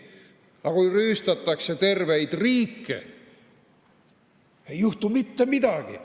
Aga kui rüüstatakse terveid riike, ei juhtu mitte midagi.